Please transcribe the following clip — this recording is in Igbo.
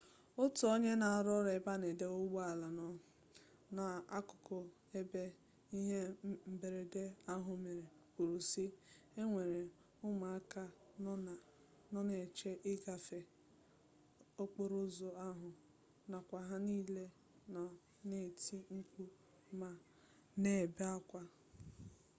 otu onye na-arụ ọrụ ebe a na-adọba ụgbọala nọ n'akụkụ ebe ihe mberede ahụ mere kwuru si e nwere ụmụaka nọ na-eche ịgafe okporo ụzọ ahụ nakwa ha nille nọ na-eti mkpu ma na-ebe akwa